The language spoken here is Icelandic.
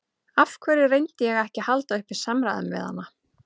Af hverju reyndi ég ekki að halda uppi samræðum við hana?